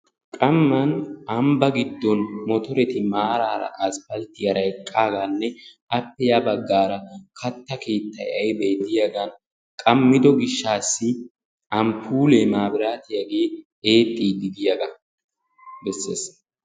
Qamman ambbaa giddon mottoreti maaraara asfalttiyara eqqaagaanne appe ya baggaara katta keettay de'yagan qammiddo gishshassi amppuulee mabbiraattiyagee eexxiidi de'iyga bessees